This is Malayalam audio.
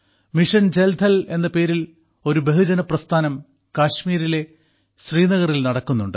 മിഷൻ ജൽ ഥൽ എന്ന പേരിൽ ഒരു ബഹുജന പ്രസ്ഥാനം കശ്മീരിലെ ശ്രീനഗറിൽ നടക്കുന്നുണ്ട്